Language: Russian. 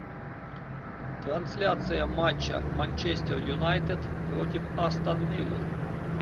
трансляция матча манчестер юнайтед против астон виллы